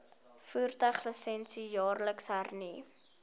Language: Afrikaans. voertuiglisensie jaarliks hernu